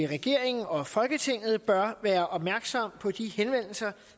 regeringen og folketinget bør være opmærksomme på de henvendelser